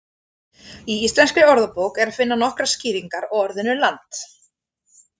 Í Íslenskri orðabók er að finna nokkrar skýringar á orðinu land.